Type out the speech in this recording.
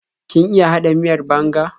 Kin iya haɗa miyar banga?